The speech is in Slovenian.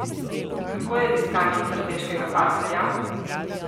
Kako je z iskanjem strateškega partnerja?